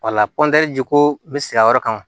Wala jiko n bɛ siran o yɔrɔ kan